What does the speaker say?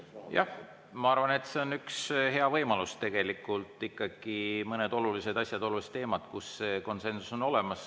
Jah, ma arvan, et see on üks hea võimalus tegelikult ikkagi mõne olulise asja, olulise teema puhul, kus konsensus on olemas.